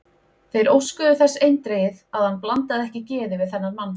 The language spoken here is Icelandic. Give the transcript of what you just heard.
Þeir óskuðu þess eindregið, að hann blandaði ekki geði við þennan mann.